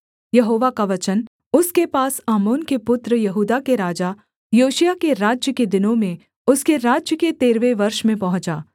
यहोवा का वचन उसके पास आमोन के पुत्र यहूदा के राजा योशिय्याह के राज्य के दिनों में उसके राज्य के तेरहवें वर्ष में पहुँचा